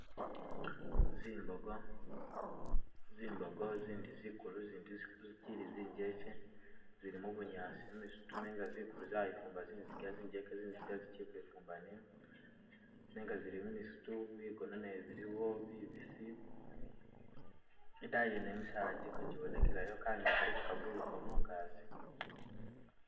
Zimbogo- zimbogo zindi zikulu, zindi zikyili zijekye zili mu bunyaasi mumisitu nenga zikulu zayifumba zinziga zijekye zinziga zikyili kwifumba niyo nenga zili mumisitu bigona nabyo biliwo bibisi, idaayi yene misaala giliko jibonekelayo, kanyonyi kaliko ka bululukila mungagi.